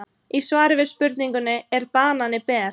Í svari við spurningunni Er banani ber?